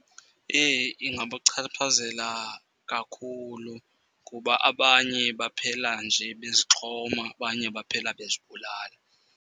Eyi ingabachaphazela kakhulu kuba abanye baphela nje bezixhoma, abanye baphela bezibulala.